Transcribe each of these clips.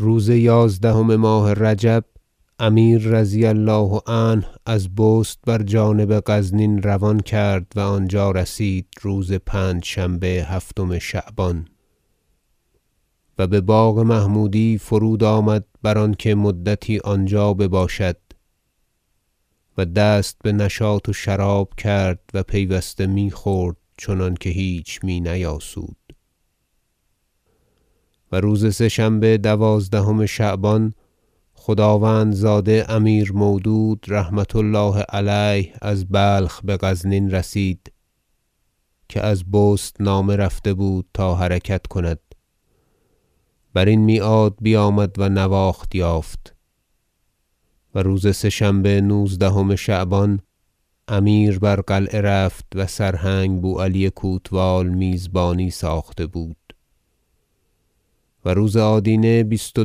روز یازدهم ماه رجب امیر رضی الله عنه از بست بر جانب غزنین روان کرد و آنجا رسید روز پنجشنبه هفتم شعبان و بباغ محمودی فرود آمد بر آنکه مدتی آنجا بباشد و دست بنشاط و شراب کرد و پیوسته میخورد چنانکه هیچ می نیاسود و روز سه شنبه دوازدهم شعبان خداوندزاده امیر مودود رحمة الله علیه از بلخ بغزنین رسید که از بست نامه رفته بود تا حرکت کند برین میعاد بیامد و نواخت یافت و روز سه شنبه نوزدهم شعبان امیر بر قلعه رفت و سرهنگ بو علی کوتوال میزبانی ساخته بود و روز آدینه بیست و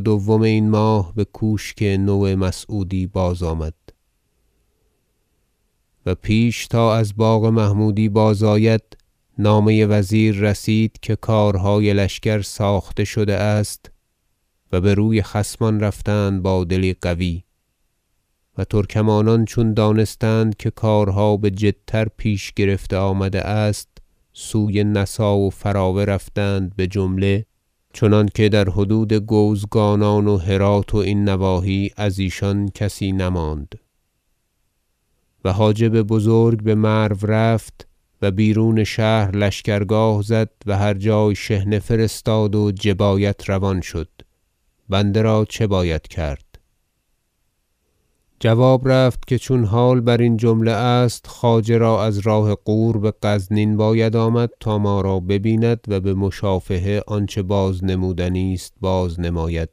دوم این ماه بکوشک نومسعودی بازآمد و پیش تا از باغ محمودی بازآید نامه وزیر رسید که کارهای لشکر ساخته شده است و بر وی خصمان رفتند با دلی قوی و ترکمانان چون دانستند که کارها بجدتر پیش گرفته آمده است سوی نسا و فراوه رفتند بجمله چنانکه در حدود گوزگانان و هرات و این نواحی ازیشان کسی نماند و حاجب بزرگ بمرو رفت و بیرون شهر لشکرگاه زد و هر جای شحنه فرستاد و جبایت روان شد بنده را چه باید کرد جواب رفت که چون حال برین جمله است خواجه را از راه غور بغزنین باید آمد تا ما را ببیند و بمشافهه آنچه بازنمودنی است بازنماید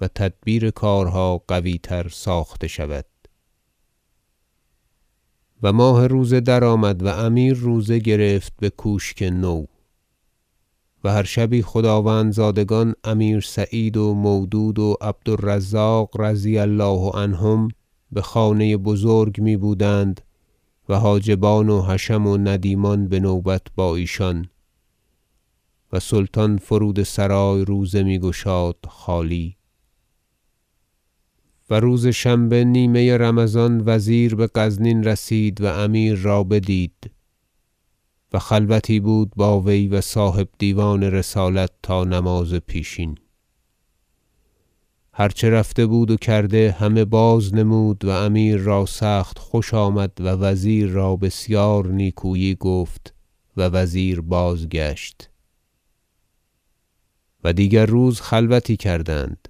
و تدبیر کارها قوی تر ساخته شود و ماه روزه درآمد و امیر روزه گرفت بکوشک نو و هر شبی خداوندزادگان امیر سعید و مودود و عبد الرزاق رضی الله عنهم بخانه بزرگ می بودند و حاجبان و حشم و ندیمان بنوبت با ایشان و سلطان فرود سرای روزه میگشاد خالی و روز شنبه نیمه رمضان وزیر بغزنین رسید و امیر را بدید و خلوتی بود با وی و صاحب دیوان رسالت تا نماز پیشین هر چه رفته بود و کرده همه باز نمود و امیر را سخت خوش آمد و وزیر را بسیار نیکویی گفت و وزیر بازگشت و دیگر روز خلوتی دیگر کردند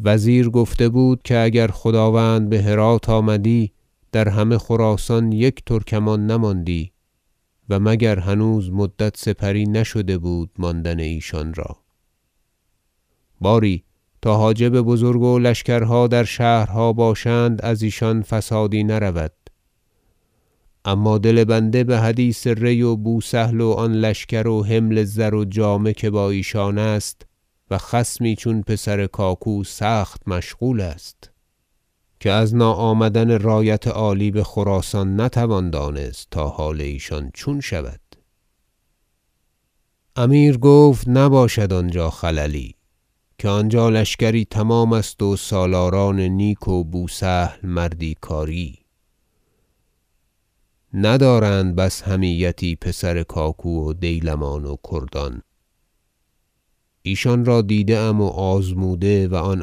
وزیر گفته بود که اگر خداوند بهرات آمدی در همه خراسان یک ترکمان نماندی و مگر هنوز مدت سپری نشده بود ماندن ایشان را باری تا حاجب بزرگ و لشکرها در شهرها باشند از ایشان فسادی نرود اما دل بنده بحدیث ری و بوسهل و آن لشکر و حمل زر و جامه که با ایشان است و خصمی چون پسر کاکو سخت مشغول است که از ناآمدن رایت عالی بخراسان نتوان دانست تا حال ایشان چون شود امیر گفت نباشد آنجا خللی که آنجا لشکری تمام است و سالاران نیک و بوسهل مردی کاری ندارند بس حمیتی پسر کاکو و دیلمان و کردان ایشان را دیده ام و آزموده و آن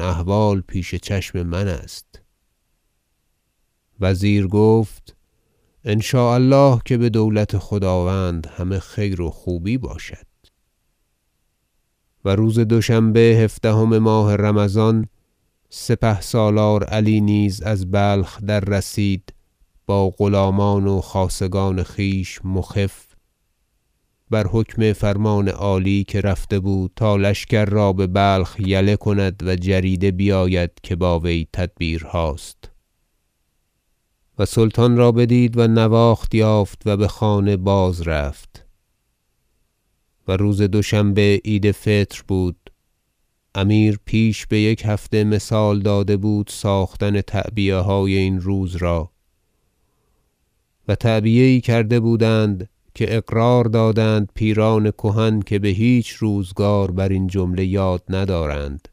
احوال پیش چشم من است وزیر گفت ان شاء الله که بدولت خداوند همه خیر و خوبی باشد و روز دوشنبه هفدهم ماه رمضان سپهسالار علی نیز از بلخ در رسید با غلامان و خاصگان خویش مخف بر حکم فرمان عالی که رفته بود تا لشکر را ببلخ یله کند و جریده بیاید که با وی تدبیرهاست و سلطان را بدید و نواخت یافت و بخانه بازرفت و روز دوشنبه عید فطر بود امیر پیش بیک هفته مثال داده بود ساختن تعبیه- های این روز را و تعبیه یی کرده بودند که اقرار دادند پیران کهن که بهیچ روزگار برین جمله یاد ندارند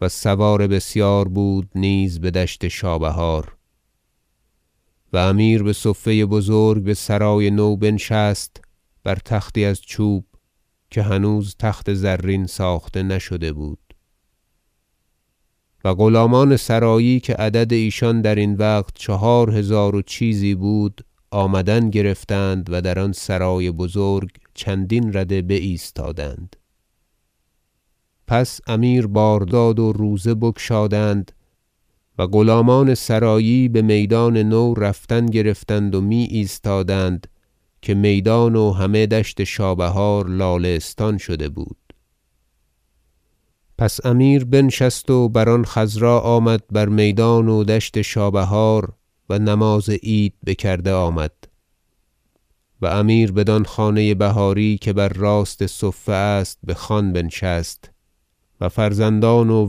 و سوار بسیار بود نیز بدشت شابهار و امیر بصفه بزرگ بسرای نو بنشست بر تختی از چوب که هنوز تخت زرین ساخته نشده بود و غلامان سرایی که عدد ایشان درین وقت چهار هزار و چیزی بود آمدن گرفتند و در آن سرای بزرگ چندین رده بایستادند پس امیر بار داد و روزه بگشادند و غلامان سرایی بمیدان نو رفتن گرفتند و میایستادند که میدان و همه دشت شابهار لاله ستان شده بود پس امیر بنشست و بر آن خصرا آمد بر میدان و دشت شابهار و نماز عید بکرده آمد و امیر بدان خانه بهاری که بر راست صفه است بخوان بنشست و فرزندان و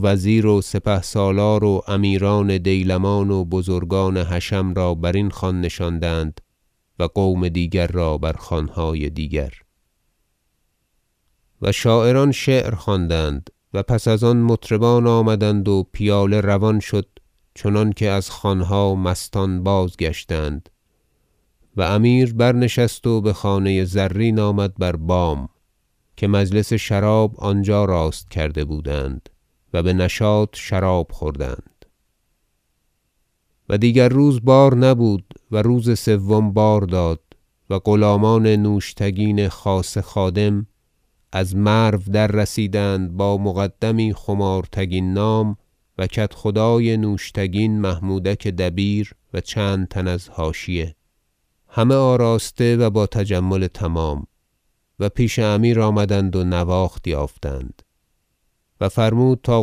وزیر و سپهسالار و امیران دیلمان و بزرگان حشم را برین خوان نشاندند و قوم دیگر را بر خوانهای دیگر و شاعران شعر خواندند و پس از آن مطربان آمدند و پیاله روان شد چنانکه از خوانها مستان بازگشتند و امیر برنشست و بخانه زرین آمد بر بام که مجلس شراب آنجا راست کرده بودند و بنشاط شراب خوردند و دیگر روز بار نبود و روز سوم بار داد و غلامان نوشتگین خاصه خادم از مرو دررسیدند با مقدمی خمارتگین نام و کدخدای نوشتگین محمودک دبیر و چند تن از حاشیه همه آراسته و با تجمل تمام و پیش امیر آمدند و نواخت یافتند و فرمود تا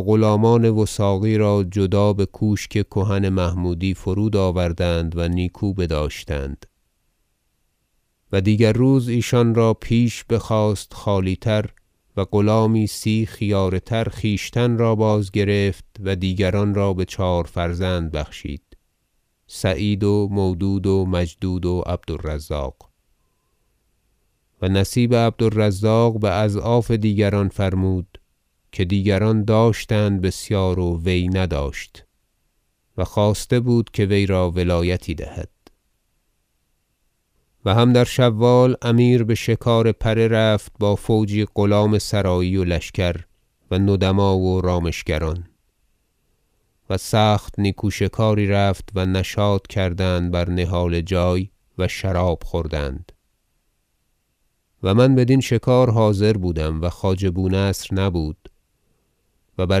غلامان وثاقی را جدا بکوشک کهن محمودی فرود آوردند و نیکو بداشتند و دیگر روز ایشان را پیش بخواست خالی تر و غلامی سی خیاره تر خویشتن را بازگرفت و دیگران بچهار فرزند بخشید سعید و مودود و مجدود و عبد الرزاق و نصیب عبد الرزاق باضعاف دیگران فرمود که دیگران داشتند بسیار و وی نداشت و خواسته بود که وی را ولایتی دهد و هم در شوال امیر بشکار پره رفت با فوجی غلام سرایی و لشکر و ندما و رامشگران و سخت نیکو شکاری رفت و نشاط کردند بر نهاله جای و شراب خوردند و من بدین شکارگاه حاضر بودم و خواجه بونصر نبود و بر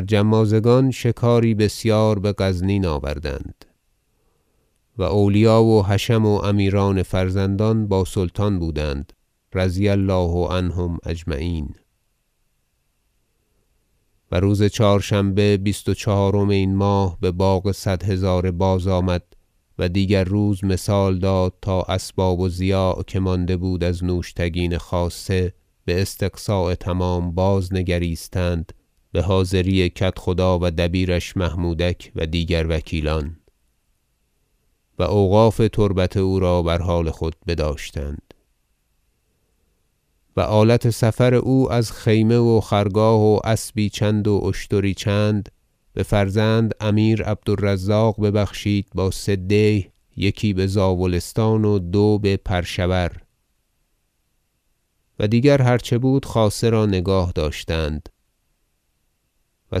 جمازگان شکاری بسیار بغزنین آوردند و اولیا و حشم و امیران فرزندان با سلطان بودند رضی الله عنهم اجمعین و روز چهارشنبه بیست و چهارم این ماه بباغ صد هزاره بازآمد و دیگر روز مثال داد تا اسباب و ضیاع که مانده بود از نوشتگین خاصه باستقصاء تمام باز نگریستند بحاضری کدخدا و دبیرش محمودک و دیگر وکیلان و اوقاف تربت او بر حال خود بداشتند و آلت سفر او را از خیمه و خرگاه و اسبی چند و اشتری چند بفرزند امیر عبد الرزاق ببخشید با سه دیه یکی بزاولستان و دو به پرشور و دیگر هر چه بود خاصه را نگاهداشتند و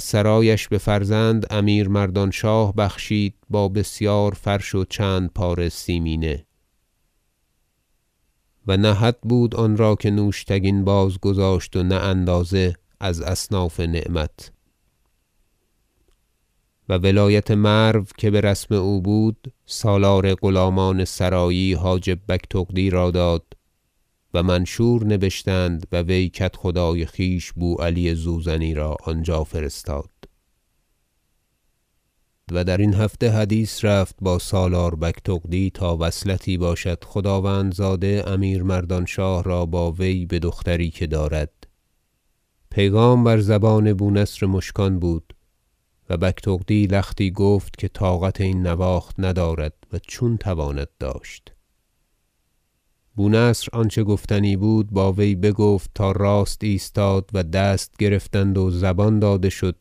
سرایش بفرزند امیر مردانشاه بخشید با بسیار فرش و چند پاره سیمینه و نه حد بود آن را که نوشتگین بازگذاشت و نه اندازه از اصناف نعمت و ولایت مرو که برسم او بود سالار غلامان سرایی حاجب بگتغدی را داد و منشور نبشتند و وی کدخدای خویش بوعلی زوزنی را آنجا فرستاد و درین هفته حدیث رفت با سالار بگتغدی تا وصلتی باشد خداوندزاده امیر مردانشاه را با وی بدختری که دارد پیغام بر زبان بونصر مشکان بود و بگتغدی لختی گفت که طاقت این نواخت ندارد و چون تواند داشت بونصر آنچه گفتنی بود با وی بگفت تا راست ایستاد و دست گرفتند و زبان داده شد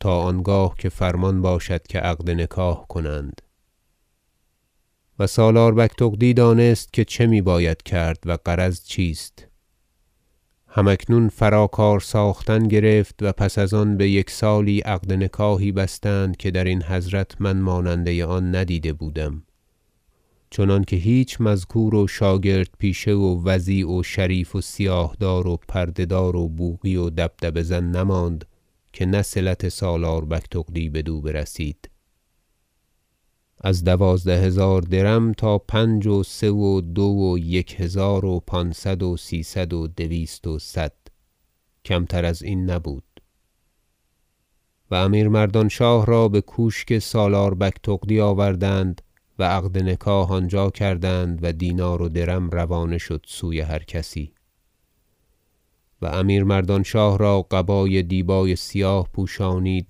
تا آنگاه که فرمان باشد که عقد نکاح کنند و سالار بگتغدی دانست که چه می باید کرد و غرض چیست هم اکنون فرا کار ساختن گرفت و پس از آن بیک سالی عقد نکاحی بستند که درین حضرت من ماننده آن ندیده بودم چنانکه هیچ مذکور و شاگرد پیشه و وضیع و شریف و سیاه دار و پرده دار و بوقی و دبدبه زن نماند که نه صلت سالار بگتغدی بدو برسید از دوازده هزار درم تا پنج و سه و دو و یک هزار و پانصد و سیصد و دویست و صد و کمتر از این نبود و امیر مردانشاه را بکوشک سالار بگتغدی آوردند و عقد نکاح آنجا کردند و دینار و درم روانه شد سوی هر کسی و امیر مردانشاه را قبای دیبای سیاه پوشانید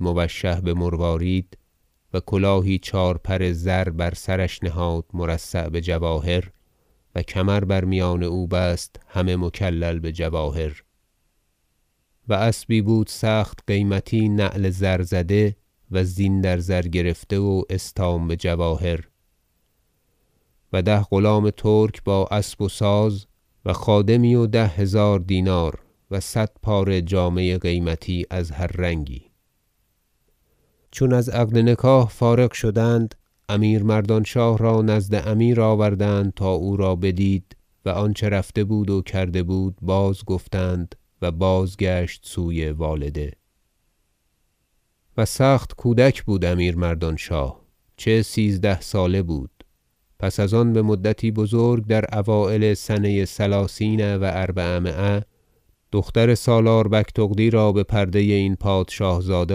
موشح بمروارید و کلاهی چهارپر زر بر سرش نهاد مرصع بجواهر و کمر بر میان او بست همه مکلل بجواهر و اسبی بود سخت قیمتی نعل زرزده و زین در زر گرفته و استام بجواهر و ده غلام ترک با اسب و ساز و خادمی و ده هزار دینار و صد پاره جامه قیمتی از هر رنگی چون از عقد نکاح فارغ شدند امیر مردانشاه را نزد امیر آوردند تا او را بدید و آنچه رفته بود و کرده بودند بازگفتند و بازگشت سوی والده و سخت کودک بود امیر مردانشاه چه سیزده ساله بود پس از آن بمدتی بزرگ در اوایل سنه ثلاثین و اربعمایه دختر سالار بگتغدی را بپرده این پادشاه زاده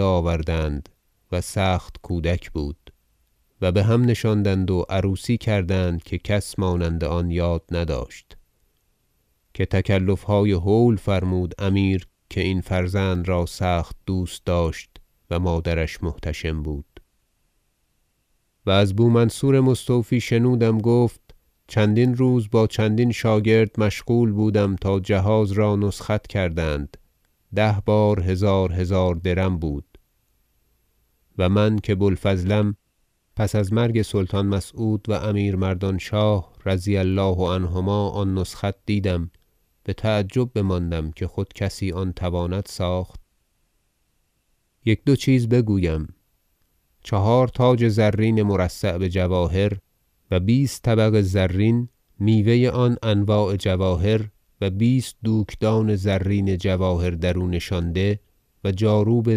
آوردند و سخت کودک بود و بهم نشاندند و عروسی کردند که کس مانند آن یاد نداشت که تکلفهای هول فرمود امیر که این فرزند را سخت دوست داشت و مادرش محتشم بود و از بو منصور مستوفی شنودم گفت چندین روز با چندین شاگرد مشغول بودم تا جهاز را نسخت کردند ده بار هزار هزار درم بود و من که بوالفضلم پس از مرگ سلطان مسعود و امیر مردانشاه رضی الله عنهما آن نسخت دیدم بتعجب بماندم که خود کسی آن تواند ساخت یک دو چیز بگویم چهار تاج زرین مرصع بجواهر و بیست طبق زرین میوه آن انواع جواهر و بیست دوکدان زرین جواهر درو نشانده و جاروب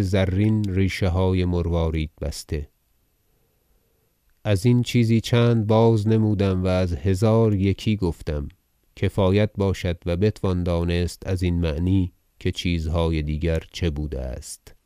زرین ریشه های مروارید بسته از این چیزی چند بازنمودم و از هزار یکی گفتم کفایت باشد و بتوان دانست از این معنی که چیزهای دیگر چه بوده است